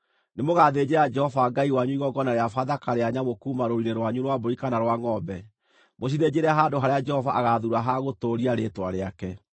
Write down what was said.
Nĩmũgathĩnjĩra Jehova Ngai wanyu igongona rĩa Bathaka rĩa nyamũ kuuma rũũru-inĩ rwanyu rwa mbũri kana rwa ngʼombe, mũcithĩnjĩre handũ harĩa Jehova agaathuura ha gũtũũria Rĩĩtwa rĩake.